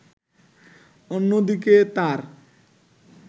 অন্যদিকে তার